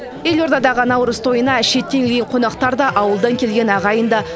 елордадағы наурыз тойына шеттен келген қонақтар да ауылдан келген ағайын да